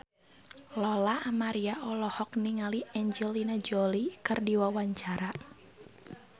Lola Amaria olohok ningali Angelina Jolie keur diwawancara